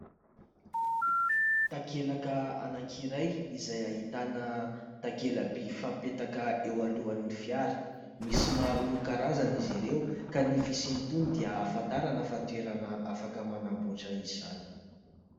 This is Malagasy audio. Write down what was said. Takelaka anankiray izay ahitana takela-by fapetraka eo alohan'ny fiara. Misy maro isan-karazany izy ireo ka ny fisin'itony dia ahafantarana fa toerana afaka manambotra izany.